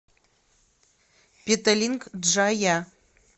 петалинг джая